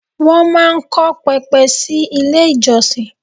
Wọ́n máa ń kọ́ pẹpẹ sí ilé ìjọsìn.